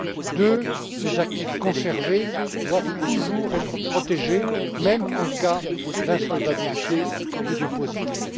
Deuxièmement, les actifs conservés doivent toujours être protégés, même en cas d'insolvabilité du dépositaire.